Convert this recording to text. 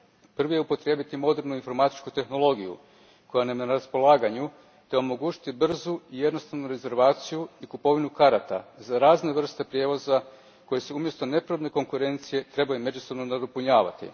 Prvi je upotrijebiti modernu informatičku tehnologiju koja nam je na raspolaganju te omogućiti brzu i jednostavnu rezervaciju i kupovinu karata za razne vrste prijevoza koji se umjesto nepravedne konkurencije trebaju međusobno nadopunjavati.